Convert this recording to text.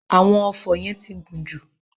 Àwọn ọfọ́ yẹn ti gùn jù.